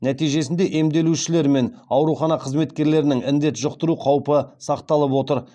нәтижесінде емделушілер мен аурухана қызметкерлерінің індет жұқтыру қаупі сақталып отыр